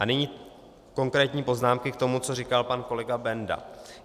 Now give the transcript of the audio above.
A nyní konkrétní poznámky k tomu, co říkal pan kolega Benda.